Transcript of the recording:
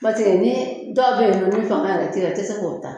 Paseke ni dɔw bɛ yen nɔ ni fanga yɛrɛ t'e la, i tɛ se k'o ta.